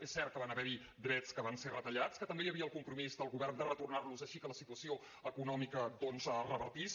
és cert que van haver hi drets que van ser retallats que també hi havia el compromís del govern de retornar los així que la situació econòmica revertís